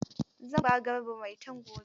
Zan ba Garba Maitan gobe.